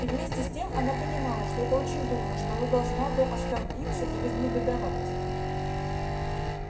и вместе с тем она понимала что это очень дурно что она должна бы оскорбиться и вознегодовать